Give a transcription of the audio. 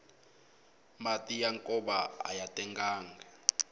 mati ya nkova aya tengangi